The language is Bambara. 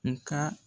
Nga